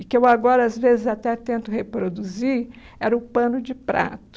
e que eu agora, às vezes, até tento reproduzir, era o pano de prato.